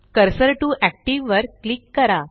cursor TO active वर click करा